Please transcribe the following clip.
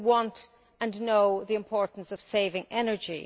People want and know the importance of saving energy.